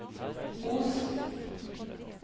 Os